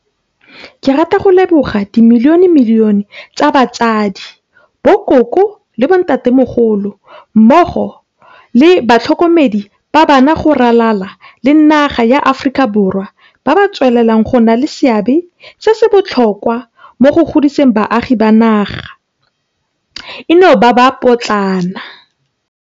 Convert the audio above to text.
Ke rata go ka leboga dimilionemilione tsa batsadi, bokoko le bontatemogolo mmogo le batlhokomedi ba bana go ralala le naga ya Aforika Borwa ba ba tswelelang go nna le seabe se se botlhokwa mo go godiseng baagi ba naga eno ba ba potlana.